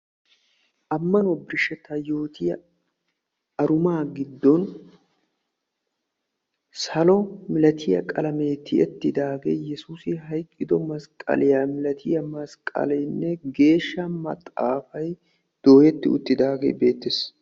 ammanuwa birshetta yootiya arumaa giddon salo milattiya qalameenne yesuussi hayqqido masqaleene geeshsha maxafay dooyeti uttidagee beetees.